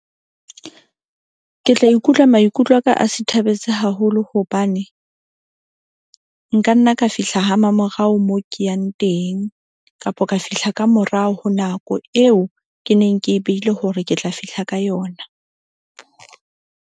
Ke tla ikutlwa maikutlo aka a sithabetse haholo. Hobane nkanna ka fihla ha mamorao moo ke yang teng kapa ka fihla ka morao ho nako eo ke neng ke e behile hore ke tla fihla ka yona.